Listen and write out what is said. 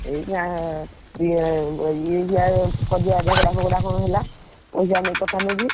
ଏଇନା, ଇଏ ଇଏ କଜିଆ ଝଗଡା ଫଗଡା କଣ ହେଲା? ପଇସା ନେଇ କଥା ନେଇକି।